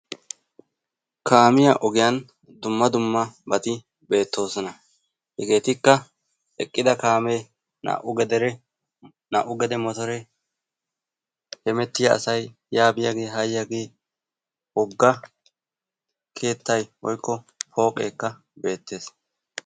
Kaamiya ogiyaan dumma dummabati beettesona. Hegeetikka eqqida kaamee, naa''u gedere, naa''u gede motore, hemettiya asay yaa biyaage ha yiyaage, wogga keettay woykko pooqeekka beettes.